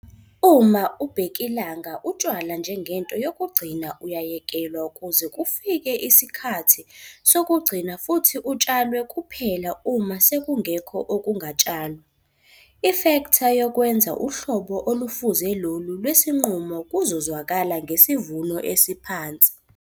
Uma ubhekilanga utshalwa njengento yokugcina uyayekelwa kuze kufika isikhathi sokugcina futhi utshalwe kuphela uma sekungekho okungatshalwa. I-ifektha yokwenza uhlobo olufuze lolu lwesinqumo kuzozwakala ngesivuno esiphansi.